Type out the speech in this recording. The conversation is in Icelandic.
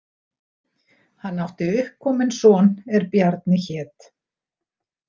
Hann átti uppkominn son er Bjarni hét.